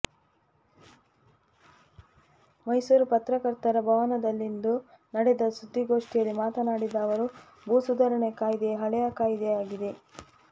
ಮೈಸೂರು ಪತ್ರಕರ್ತರ ಭವನದಲ್ಲಿಂದು ನಡೆದ ಸುದ್ದಿಗೋಷ್ಠಿಯಲ್ಲಿ ಮಾತನಾಡಿದ ಅವರು ಭೂ ಸುಧರಾಣೆ ಕಾಯ್ದೆ ಹಳೆಯ ಕಾಯ್ದೆಯಾಗಿದೆ